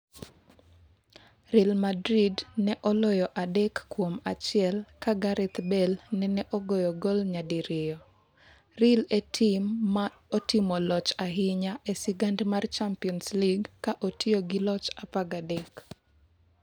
Real Madrid ne oloyo adek kuom achiel ka Gareth Bale nene ogoyo gol nyadi riyo Real e tim ma otimo loch ahinya e sigand mar Champions League ka otiyo gi loch 13.